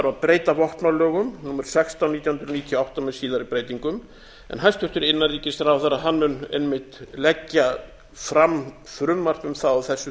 að breyta vopnalögum númer sextán nítján hundruð níutíu og átta með síðari breytingum hæstvirtur innanríkisráðherra mun einmitt leggja fram frumvarp um það á þessu